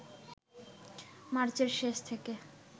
মার্চের শেষ থেকে